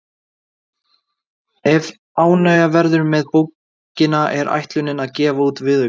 Ef ánægja verður með bókina er ætlunin að gefa út viðauka.